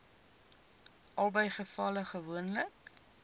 albei gevalle gewoonlik